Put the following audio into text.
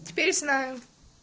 теперь знаю